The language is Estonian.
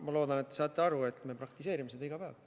Ma loodan, et te saate aru, et me praktiseerime seda iga päev.